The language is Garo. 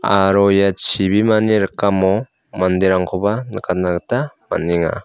aro ia chibimani rikamo manderangkoba nikatna gita man·enga.